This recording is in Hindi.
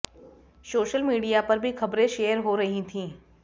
सोशल मीडिया पर भी खबरें शेयर हो रही थीं